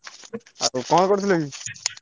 ଆଉ କଣ କରୁଥିଲୁ କି?